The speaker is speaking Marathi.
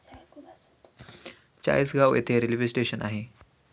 चाळीसगाव येथे रेल्वे स्टेशन आहे.